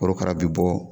Korokara bɛ bɔ